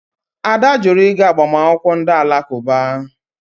Ada jụrụ ịga agbamakwụkwọ ndị Alakụba.